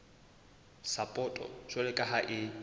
sapoto jwalo ka ha e